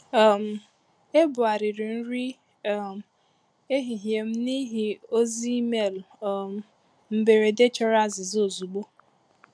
um Ebugharịrị nri um ehihie m n’ihi ozi email um mberede chọrọ azịza ozugbo